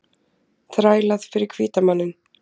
Þrælað fyrir hvíta manninn.